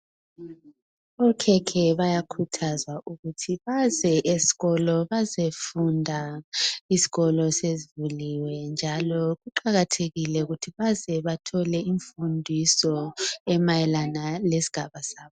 Okhekhe bayakhuthazwa ukuthi baze eskolo bazefunda izikolo sezivuliwe kuqakathekile ukuthi bathole imfundiso emayelana lesigaba sabo.